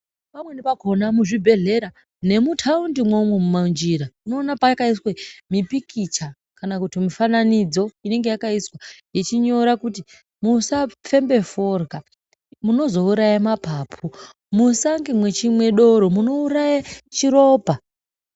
Pamweni pakona muzvibhedhlera nemutaundi mwoumwo mumanjira unoona pakaiswe mipikicha kana kuti mifananidzo inenge yakaiswa ichinyora kuti musafembe forya munozouraya mapapu musange mechimwa doro munouraya chiropa.